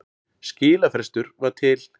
Skilafrestur var til